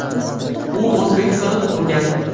U O‘zbekistonda tug‘ilgan.